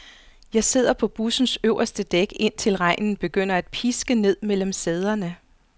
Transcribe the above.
Jeg sidder på bussens øverste dæk, indtil regnen begynder at piske ned mellem sæderne.